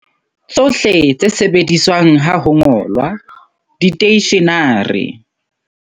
Tsohle tse sebediswang ha ho ngolwa, diteishenare.